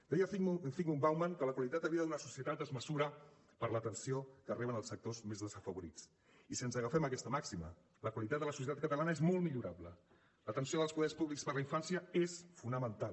deia zygmunt bauman que la qualitat de vida d’una societat es mesura per l’atenció que reben els sectors més desafavorits i si ens agafem a aquesta màxima la qualitat de la societat catalana és molt millorable l’atenció dels poders públics per a la infància és fonamental